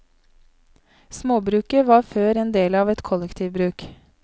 Småbruket var før en del av et kollektivbruk.